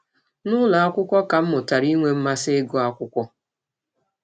N’ụlọ akwụkwọ ka m mụtara inwe mmasị ịgụ akwụkwọ.